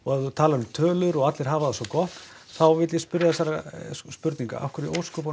að tala um tölur og að allir hafi það svo gott þá vill ég spyrja þessarar spurningar af hverju